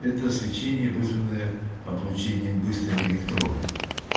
это свечение вызванное облучением быстрыми электронами